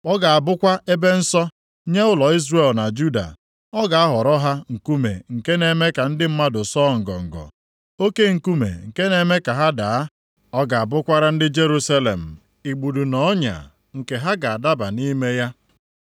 Ọ ga-abụkwa ebe nsọ; + 8:14 Maọbụ, Ebe mgbaba nye ụlọ Izrel na Juda, ọ ga-aghọrọ ha nkume nke na-eme ka ndị mmadụ sọọ ngọngọ, oke nkume nke na-eme ka ha daa. Ọ ga-abụkwara ndị Jerusalem igbudu na ọnya nke ha ga-adaba nʼime ya.